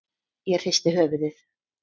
Ég hristi höfuðið.